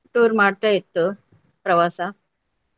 Tour ಮಾಡ್ತಾ ಇತ್ತು ಪ್ರವಾಸ.